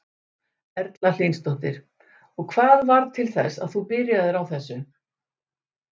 Erla Hlynsdóttir: Og hvað varð til þess að þú byrjaðir á þessu?